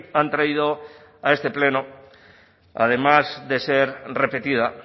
han traído a este pleno además de ser repetida